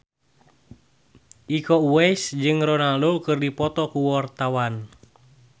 Iko Uwais jeung Ronaldo keur dipoto ku wartawan